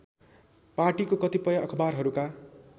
पार्टीको कतिपय अखवारहरूका